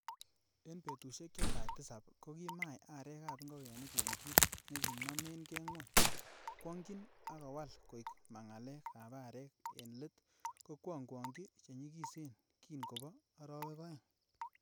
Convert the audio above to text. En betusiek che tai tisap, kokimai arek ab ingogenik en kit nekinomen ke gwony gwonkyin, ak kowal koig mangalek ab arek ak en let kongwonggwonyin chenyigisen kin kobo arawek oeng.